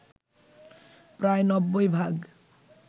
প্রায় ৯০ ভাগ